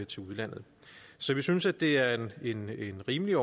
til udlandet så vi synes det er rimeligt rimeligt